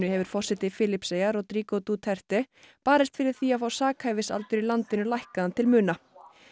hefur forseti Filippseyja Rodrigo Duterte barist fyrir því að fá sakhæfisaldur í landinu lækkaðan til muna